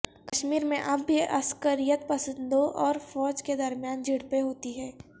کشمیر میں اب بھی عسکریت پسندوں اور فوج کے درمیان جھڑپیں ہوتی ہیں